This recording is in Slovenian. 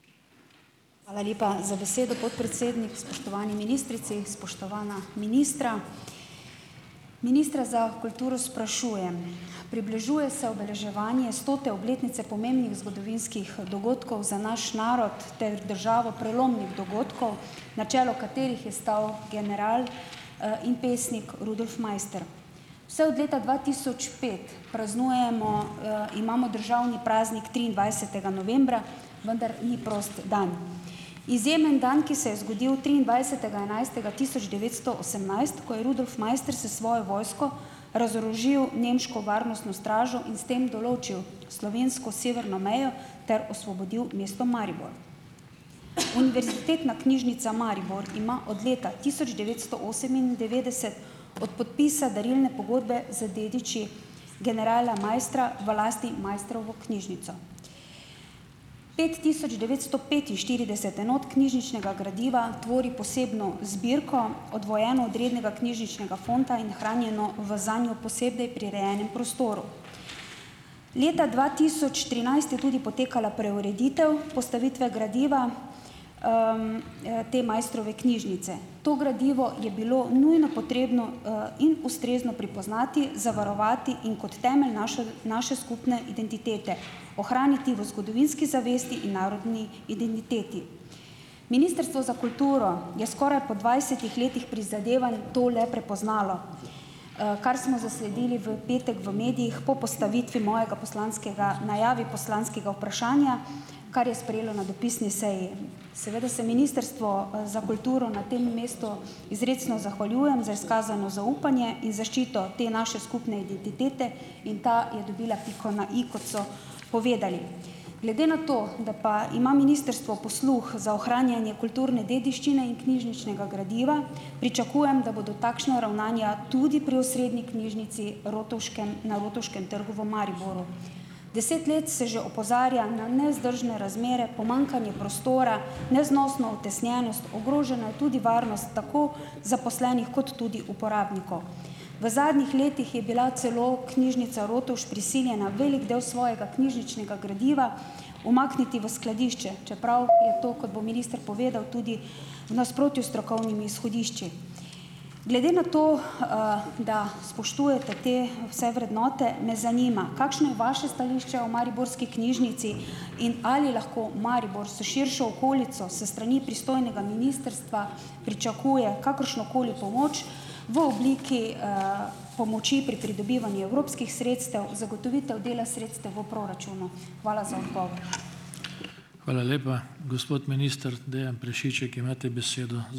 Hvala lepa za besedo, podpredsednik. Spoštovani ministrici, spoštovana ministra. Ministra za kulturo sprašujem - približuje se obeleževanje stote obletnice pomembnih zgodovinskih dogodkov za naš narod ter državo, prelomnih dogodkov, na čelu katerih je stal general in pesnik Rudolf Maister. Vse od leta dva tisoč pet praznujemo - imamo državni praznik triindvajsetega novembra, vendar ni prost dan. Izjemen dan, ki se je zgodil triindvajsetega enajstega tisoč devetsto osemnajst, ko je Rudolf Maister s svojo vojsko razorožil nemško varnostno stražo in s tem določil slovensko severno mejo ter osvobodil mesto Maribor. Univerzitetna knjižnica Maribor ima od leta tisoč devetsto osemindevetdeset od podpisa darilne pogodbe z dediči generala Maistra v lasti Maistrovo knjižnico. Pet tisoč devetsto petinštirideset enot knjižničnega gradiva tvori posebno zbirko, oddvojeno od rednega knjižničnega fonda in hranjeno v zanjo posebej prirejenem prostoru. Leta dva tisoč trinajst je tudi potekala preureditev postavitve gradiva te Maistrove knjižnice. To gradivo je bilo nujno potrebno in ustrezno pripoznati, zavarovati in kot temelj naše skupne identitete ohraniti v zgodovinski zavesti in narodni identiteti. Ministrstvo za kulturo je skoraj po dvajsetih letih prizadevanj to le prepoznalo, kar smo zasledili v petek v medijih, po postavitvi mojega poslanskega najavi poslanskega vprašanja, kar je sprejelo na dopisni seji. Seveda se Ministrstvo za kulturo na tem mestu izrecno zahvaljujem za izkazano zaupanje in zaščito te naše skupne identitete in ta je dobila piko na i, kot so povedali. Glede na to, da pa ima ministrstvo posluh za ohranjanje kulturne dediščine in knjižničnega gradiva, pričakujem, da bodo takšna ravnanja tudi pri osrednji knjižnici Rotovškem na Rotovškem trgu v Mariboru. Deset let se že opozarja na nevzdržne razmere, pomanjkanje prostora, neznosno utesnjenost, ogrožena je tudi varnost, tako zaposlenih kot tudi uporabnikov. V zadnjih letih je bila celo Knjižnica Rotovž prisiljena velik del svojega knjižničnega gradiva umakniti v skladišče. Čeprav je to, kot bo minister povedal, tudi v nasprotju s strokovnimi izhodišči. Glede na to, da spoštujete te vse vrednote, me zanima, kakšno je vaše stališče o mariborski knjižnici in ali lahko Maribor s širšo okolico s strani pristojnega ministrstva pričakuje kakršnokoli pomoč v obliki pomoči pri pridobivanju evropskih sredstev, zagotovitev dela sredstev v proračunu. Hvala za odgovor.